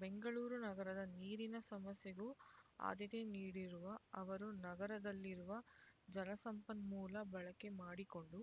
ಬೆಂಗಳೂರು ನಗರದ ನೀರಿನ ಸಮಸ್ಯೆಗೂ ಆದ್ಯತೆ ನೀಡಿರುವ ಅವರು ನಗರದಲ್ಲಿರುವ ಜಲಸಂಪನ್ಮೂಲ ಬಳಕೆ ಮಾಡಿಕೊಂಡು